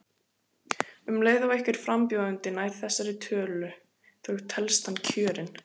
Um leið og einhver frambjóðandi nær þessari tölu þá telst hann kjörinn.